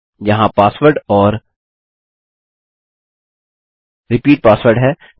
यहाँ पासवर्ड और repeat password है